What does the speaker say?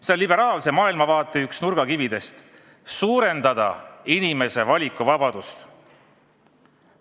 See on liberaalse maailmavaate üks nurgakividest – suurendada inimese valikuvabadust.